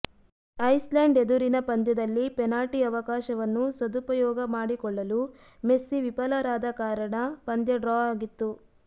Iceland ಎದುರಿನ ಪಂದ್ಯದಲ್ಲಿ penalty ಅವಕಾಶವನ್ನು ಸದುಪಯೋಗ ಮಾಡಿಕೊಳ್ಳಲು ಮೆಸ್ಸಿ ವಿಫಲರಾದ ಕಾರಣ ಪಂದ್ಯ ಡ್ರಾ ಆಗಿತ್ತು